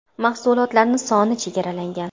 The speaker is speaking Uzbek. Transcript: Mahsulotlar soni chegaralangan.